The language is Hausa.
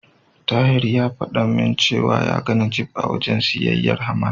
Tahir ya fada min cewa ya ga Najeeb a wajen siyayyar Haman.